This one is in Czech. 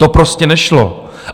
To prostě nešlo!